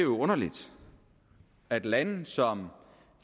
underligt at lande som